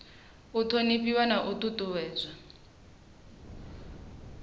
u thonifhiwa na u ṱuṱuwedzwa